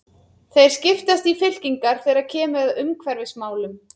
Þeir skiptast í fylkingar þegar kemur að umhverfismálum.